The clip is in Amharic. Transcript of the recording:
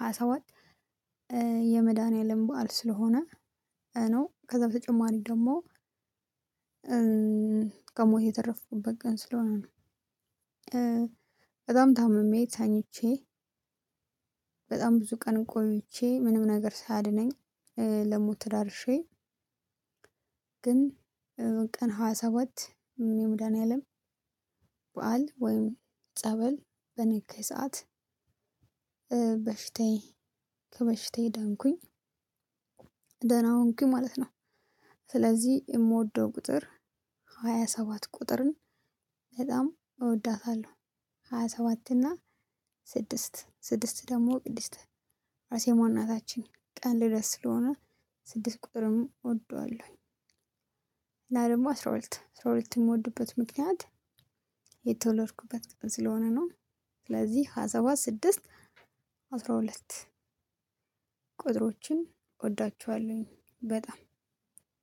ሀያሰባት የመድኃኒዓለም በዓል ስለሆነ። ነው ከዛ በተጨማሪ ደግሞ። ከሞት የተረፉበት ቀን ስለሆነ ነው። በጣም ታምሜ ታኝቼ በጣም ብዙ ቀን ቆይቼ ምንም ነገር ሳያድነኝ ለሞት ተዳርሼ። ግን ቀን ሀያሰባት የመድኃንያለም በዓል ወይም ጸበል በነካኝ ሰዓት በሽታዬ ከበሽቴ ዳንኩኝ። ደህና ሆንኩኝ ማለት ነው። ስለዚህ የምወደው ቁጥር ሃያ ሰባት ቁጥርን በጣም እወዳታለሁ። ሃያ ሰባት እና ስድስት ስድስት ደግሞ ቅድስት አርሴማ እናታችን ቀን ልደት ስለሆነ ስድስት ቁጥርም እወደዋለሁኝ። እና ደሞ አስራ ሁለት አስራ ሁለት የምወድበት ምክንያት የተወለድኩበት ቀን ስለሆነ ነው። ስለዚህ ሀያሰባት ስድስት አስራ ሁለት ቁጥሮችን እወዳቸዋለሁኝ በጣም